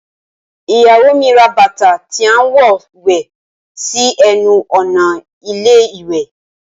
Iyawo mi ra bàtà tí a ń wọ wẹ̀ sí ẹnu ọ̀nà ilé ìwẹ̀